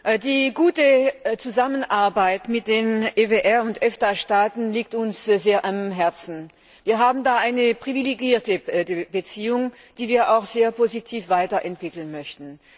Frau Präsidentin! Die gute Zusammenarbeit mit den EWR und EFTA Staaten liegt uns sehr am Herzen. Wir haben da eine privilegierte Beziehung, die wir auch sehr positiv weiterentwickeln möchten.